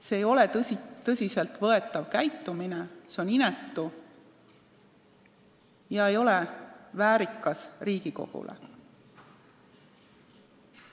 See ei ole tõsiselt võetav käitumine, see on inetu ega ole väärikas Riigikogule.